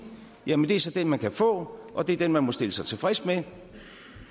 jamen det er så den man kan få og det er den man vil stille sig tilfreds med